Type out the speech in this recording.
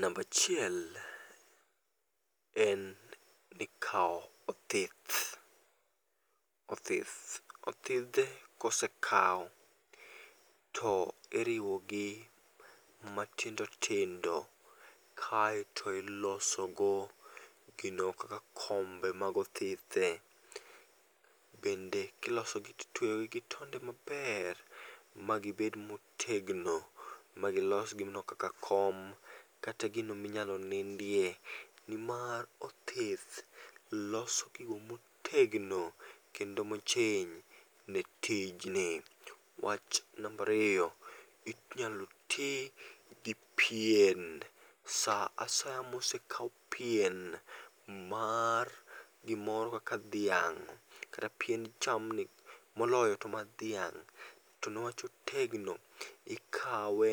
Namba achiel en ni kao othith, othithe kosekawo to iriwo gi matindo tindo kaiti oiloso go kombe mag othithe. Bende iloso gi tweyo itweyo gi tonde ma ber ma gi bed ma otegno ma gi los gino kaka kom kata gino mi inyal nindie. Ni mar othith loso gigo otegno kendo mo ochiny ni tij ni. Wach namba ariyo, inyalo ti gi pien sa asaya ma osekawo pien mar gi moro kaka dhiang kata pien jamni moloyo to mar dhiang.to ne wach otegno, ikawo